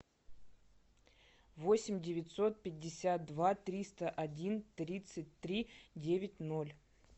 восемь девятьсот пятьдесят два триста один тридцать три девять ноль